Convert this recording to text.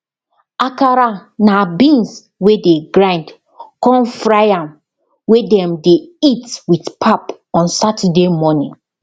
akara na beans wey dey grind con fry am wey dem dey eat with pap on saturday morning